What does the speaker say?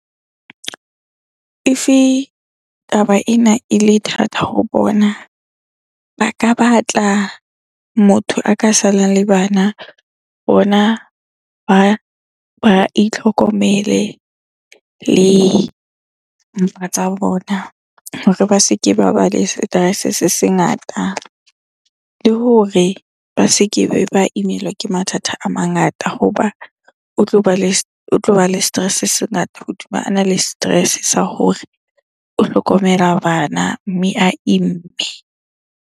If-e taba ena ele thata ho bona, ba ka batla motho a ka salang le bana. Bona ba itlhokomele le mpa tsa bona hore ba se ke ba ba le stress-e se se ngata. Le hore ba se kebe ba imelwa ke mathata a mangata hoba le tloba le stress-e se se ngata hodima ana le stress-e sa hore o hlokomela bana, mme a imme.